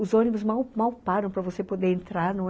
Os ônibus mal mal param para você poder entrar, não é?